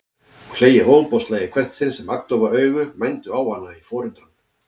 Og hlegið ofboðslega í hvert sinn sem agndofa augu mændu á hana í forundran.